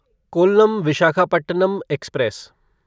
Kollam Visakhapatnam express